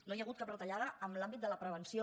no hi ha hagut cap retallada en l’àmbit de la prevenció